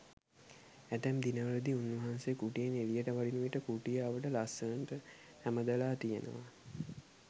ඇතැම් දිනවලදී උන්වහන්සේ කුටියෙන් එළියට වඩින විට කුටිය අවට ලස්සනට ඇමදලා තියෙනවා.